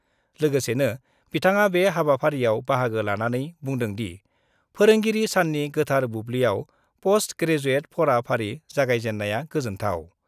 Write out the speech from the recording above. लोगोसेनो बिथाङा बे हाबाफारिआव बाहागो लानानै बुंदोंदि, फोरोंगिरि साननि गोथार बुब्लियाव पस्ट ग्रेजुएड फरा फारि जागायजेन्नाया, गोजोन्थाव।